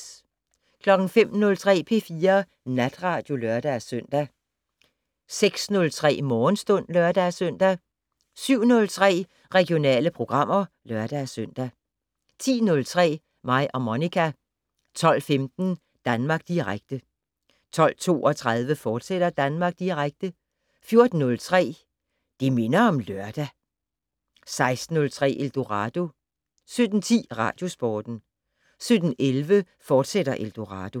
05:03: P4 Natradio (lør-søn) 06:03: Morgenstund (lør-søn) 07:03: Regionale programmer (lør-søn) 10:03: Mig og Monica 12:15: Danmark Direkte 12:32: Danmark Direkte, fortsat 14:03: Det minder om lørdag 16:03: Eldorado 17:10: Radiosporten 17:11: Eldorado, fortsat